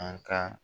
An ka